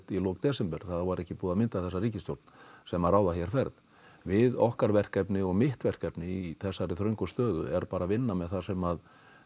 í desember þá var ekki búið að mynda þessa ríkisstjórn sem ræður hér ferð við okkar verkefni og mitt verkefni í þessari þröngu stöðu er bara að vinna með það sem